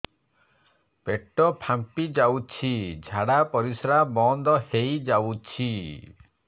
ପେଟ ଫାମ୍ପି ଯାଉଛି ଝାଡା ପରିଶ୍ରା ବନ୍ଦ ହେଇ ଯାଉଛି